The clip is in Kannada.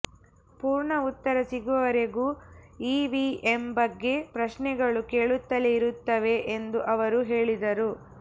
ಪೂರ್ಣ ಉತ್ತರ ಸಿಗುವವರೆಗೂ ಇವಿಎಂ ಬಗ್ಗೆ ಪ್ರಶ್ನೆಗಳು ಕೇಳುತ್ತಲೇ ಇರುತ್ತೇವೆ ಎಂದು ಅವರು ಹೇಳಿದರು